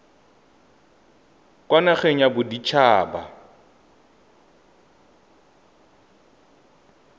kwa nageng ya bodit haba